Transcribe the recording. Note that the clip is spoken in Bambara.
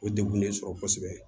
O degun de sɔrɔ kosɛbɛ